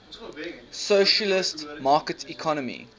socialist market economy